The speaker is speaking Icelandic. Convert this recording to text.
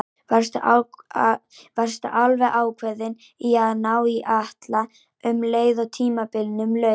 Varstu alveg ákveðinn í að ná í Atla um leið og tímabilinu lauk?